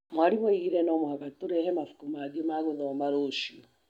Mwarimũ oigire atĩ no mũhaka tũrehe mabuku mangĩ ma gũthoma rũciũ.